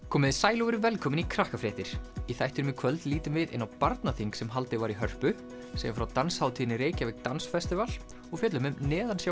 komiði sæl og verið velkomin í í þættinum í kvöld lítum við inn á barnaþing sem haldið var í Hörpu segjum frá danshátíðinni Reykjavík Dance festival og fjöllum um